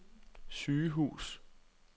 sygehus